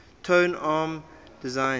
tone arm designs